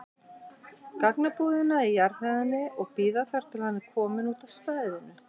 gagnabúðina á jarðhæðinni og bíða þar til hann er kominn út af stæðinu.